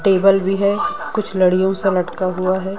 Table भी है कुछ लड़ियो सा लटका हुआ है।